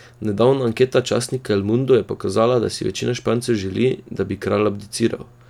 Nedavna anketa časnika El Mundo je pokazala, da si večina Špancev želi, da bi kralj abdiciral.